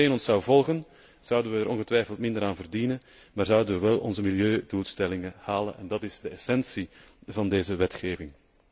Als iedereen ons zou volgen zouden wij er ongetwijfeld minder aan verdienen, maar zouden wij wel onze milieudoelstellingen halen en dat is de essentie van deze wetgeving.